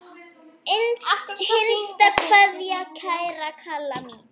HINSTA KVEÐJA Kæra Kalla mín.